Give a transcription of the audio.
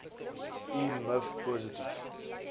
u miv positief